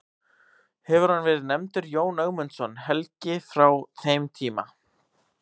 Hefur hann verið nefndur Jón Ögmundsson helgi frá þeim tíma.